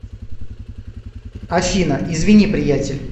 афина извини приятель